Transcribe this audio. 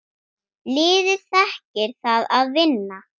Liðið þekkir það að vinna.